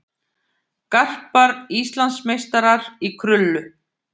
Garpar Íslandsmeistarar í krullu